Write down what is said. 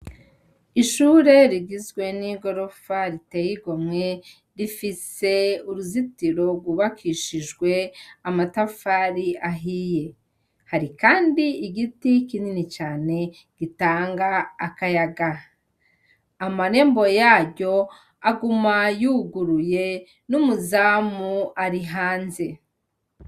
Ishure rigizwe n’igorofa ritey’igomwe, rifise uruzitiro rw’ubakishijwe amatafari ahiye. Hari Kandi igiti kinini cane gitanga akayaga . Amarembo yaryo aguma yuguruye , n’umuzamu Ari hanze.